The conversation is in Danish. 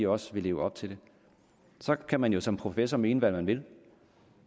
også vil leve op til det så kan man som professor mene hvad man vil